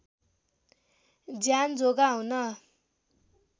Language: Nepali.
ज्यान जोगाउन